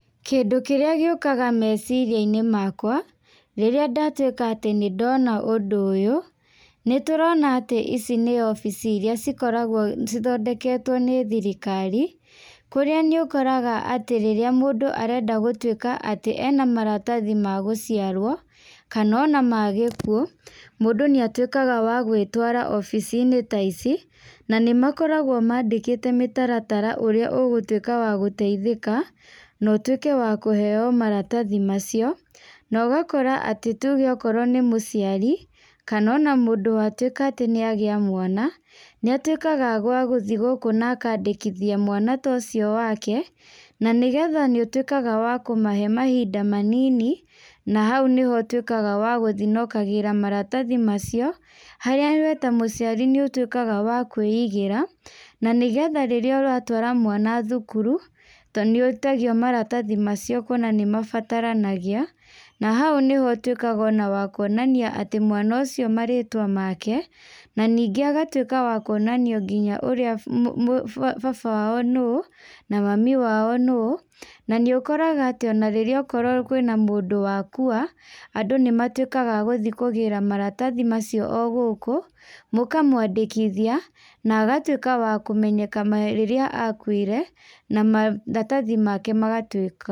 Kĩndũ kĩrĩa gĩũkaga meciria-inĩ makwa, rĩrĩa ndatuĩka atĩ nĩ ndona ũndũ ũyũ, nĩ tũrona atĩ ici nĩ obici irĩa cikoragwo cithondeketwo nĩ thirkari. Kũrĩa nĩ ũkoraga atĩ rĩrĩa mũndũ arenda gũtuĩka atĩ ena maratathi ma gũciarwo, kana ona ma gĩkuũ, mũndũ nĩ atuĩkaga wa gwĩtwara obici-inĩ ta ici. Na nĩ makoragwo mandĩkĩte mĩtaratara ũrĩa ũgũtuĩka wa gũteithĩka, na ũtuĩke wa kũheeo maratathi macio. Na ũgakora atĩ tuge okorwo nĩ mũciari, kana ona mũndũ watuĩka atĩ nĩ agĩa mwana, nĩ atuĩkaga gwa gũthi gũkũ na akandĩkithia mwana ta ũcio wake, na nĩgetha nĩ ũtuĩkaga wa kũmahe mahinda manini, na hau nĩho ũtuĩkaga wa gũthi na ũkagĩra maratathi macio. Harĩa we ta mũciari nĩ ũtuĩkaga wa kwĩigĩra, na nĩgetha rĩrĩa ũratwara mwana thukuru, to nĩ wĩtagio maratathi macio kuona nĩ mabataranagia. Na hau nĩho ũtuĩkaga ona wa kuonania atĩ mwana ũcio marĩĩtwa make, na ningĩ agatuĩka wa kuonanio nginya ũrĩa baba wao nũũ, na mami wao nũũ. Na nĩ ũkoraga atĩ ona rĩrĩa okorwo kwĩna mũndũ wakua, andũ nĩ matuĩkaga agũthi kũgĩra maratathi macio o gũkũ. Mũkamũandĩkithia, na agatuĩka wa kũmenyeka rĩrĩa akuire, na maratathi make magatuĩka.